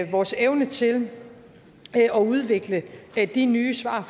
vores evne til at udvikle de nye svar